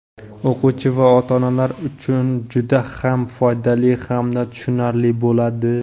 o‘quvchi va ota-onalar uchun juda ham foydali hamda tushunarli bo‘ladi.